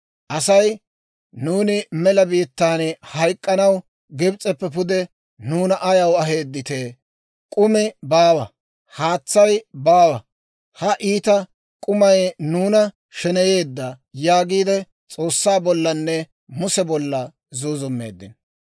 Asay, «Nuuni mela biittaan hayk'k'anaw Gibs'eppe pude nuuna ayaw aheedditee? K'umi baawa; haatsay baawa; ha iita k'umay nuuna sheneyeedda» yaagiide S'oossaa bollanne Muse bolla zuuzummeeddino.